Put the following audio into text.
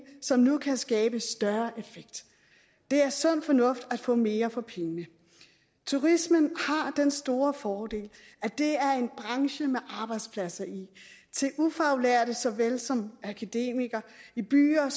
som nu kan skabe større effekt det er sund fornuft at få mere for pengene turismen har den store fordel at det er en branche med arbejdspladser i til ufaglærte såvel som akademikere i byer